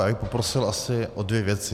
Já bych poprosil asi o dvě věci.